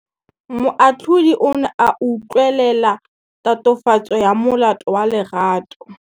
Moatlhodi o ne a utlwelela tatofatsô ya molato wa Lerato.